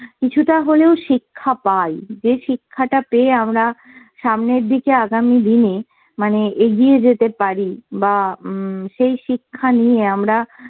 কিছুটা হলেও শিক্ষা পাই। যে শিক্ষাটা পেয়ে আমরা সামনের দিকে আগামী দিনে মানে এগিয়ে যেতে পারি বা উম সেই শিক্ষা নিয়ে আমরা